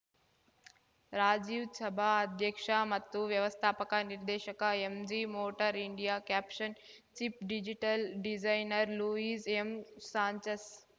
ರಾಜೀವ್‌ ಛಾಬಾ ಅಧ್ಯಕ್ಷ ಮತ್ತು ವ್ಯವಸ್ಥಾಪಕ ನಿರ್ದೇಶಕ MG motor India caption chip digital designer Luis M Sanchez